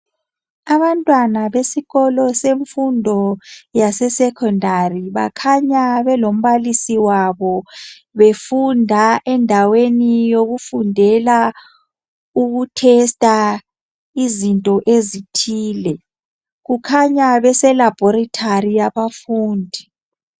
Abantwana besikolo besifundo sasesecondary bakhanya belombalisi wabo befunda endaweni yokufundela ukutesta izinto ezithile. Kukhanya beseLaboratory abafundi.